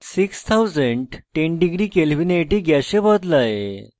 6010 degree kelvin at গ্যাসে বদলায়